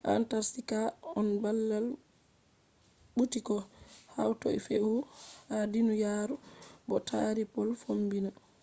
antarctica on bala ɓuti ko hatoi feewuho ha duniyaaru bo taari pol fombina